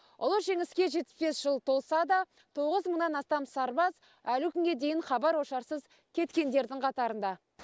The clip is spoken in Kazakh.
ұлы жеңіске жетпіс бес жыл толса да тоғыз мыңнан астам сарбаз әлі күнге дейін хабар ошарсыз кеткендердің қатарында